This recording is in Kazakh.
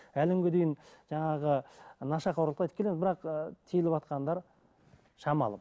әлі күнге дейін жаңағы ы нашақорлықты айтып келеміз бірақ ы тиылватқандар шамалы